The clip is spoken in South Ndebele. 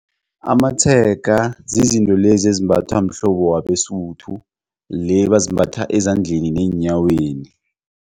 Amatshega zizinto lezi ezimbathwa mhlobo wabeSuthu le bazimbatha ezandleni neenyaweni.